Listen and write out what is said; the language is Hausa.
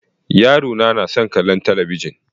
Yarona na son kallan talabijin.